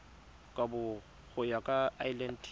kabo go ya ka lrad